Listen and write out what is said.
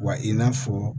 Wa i n'a fɔ